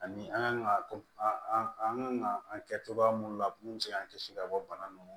Ani an kan ka an kan ka an kɛ cogoya mun na mun bɛ se k'an kisi ka bɔ bana nunnu ma